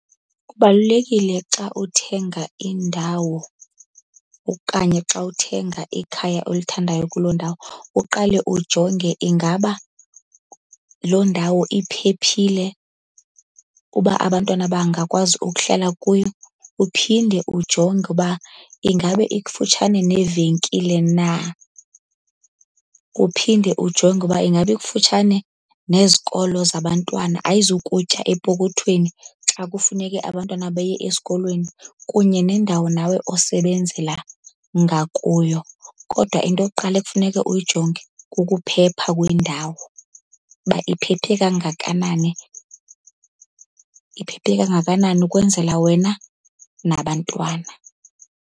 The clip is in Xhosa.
Kubalulekile xa uthenga indawo okanye xa uthenga ikhaya olithandayo kuloo ndawo uqale ujonge, ingaba loo ndawo iphephile uba abantwana bangakwazi ukuhlala kuyo. Uphinde ujonge uba ingabe ikufutshane neevenkile na? Uphinde ujonge uba ingaba ikufutshane nezikolo zabantwana? Ayizukutya epokothweni xa kufuneke abantwana beye esikolweni, kunye nendawo nawe osebenzela ngakuyo. Kodwa into yokuqala ekufuneka uyijonge kukuphepha kwendawo uba iphephe kangakanani. Iphephe kangakanani ukwenzela wena nabantwana.